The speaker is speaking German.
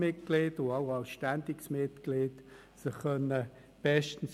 Für diese alle gibt es vorgedruckte Wahlzettel.